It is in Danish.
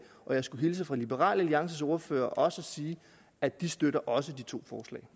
og jeg skulle hilse fra liberal alliances ordfører og sige at de støtter også de to